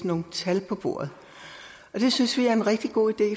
nogle tal på bordet det synes vi er en rigtig god idé